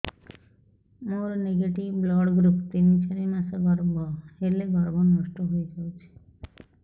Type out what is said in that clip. ମୋର negative blood group ତିନ ଚାରି ମାସ ଗର୍ଭ ହେଲେ ଗର୍ଭ ନଷ୍ଟ ହେଇଯାଉଛି